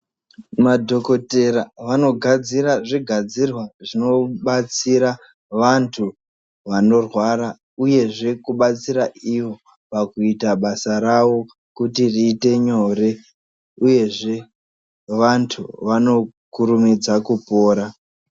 Madhokotere vanogadzira zvigadzirwa zvinodetsera vantu vanorwara uyezve kudetsere ivo pakuita basa ravo kuti riite nyore uyezve vantu vanokurumidza kupora.